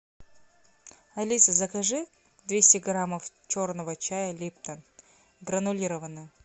алиса закажи двести грамм черного чая липтон гранулированного